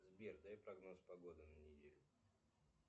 сбер дай прогноз погоды на неделю